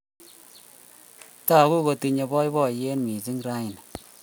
Tagu kotinye poipoiyet missing' raini